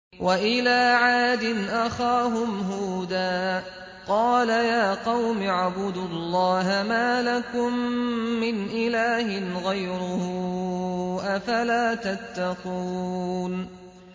۞ وَإِلَىٰ عَادٍ أَخَاهُمْ هُودًا ۗ قَالَ يَا قَوْمِ اعْبُدُوا اللَّهَ مَا لَكُم مِّنْ إِلَٰهٍ غَيْرُهُ ۚ أَفَلَا تَتَّقُونَ